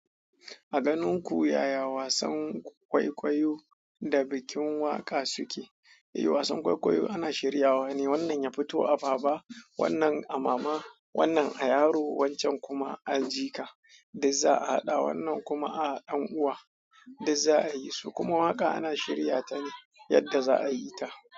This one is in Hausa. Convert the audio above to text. A ganin ku yaya wasan kwaikwayo da bikin waƙa suke? Eh wasan kwaikwayo ana shiryawa ne, wannan ya fito a baba, wannan a mama, wannan a yaro, wancan kuma a jika, duk za'a haɗa wannan kuma a ɗan'uwa duk za'a yi su. Kuma waƙa ana shirya ta ne yadda za'a yi ta.